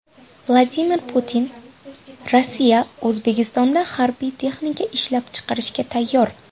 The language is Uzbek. Vladimir Putin: Rossiya O‘zbekistonda harbiy texnika ishlab chiqarishga tayyor.